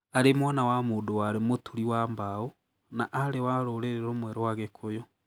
Arĩ mwana wa mũndũ warĩ mũturi wa mbaũ na aarĩ wa rũrĩrĩ rumwe rwa gĩkũyũ.